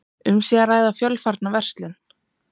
Um sé að ræða fjölfarna verslun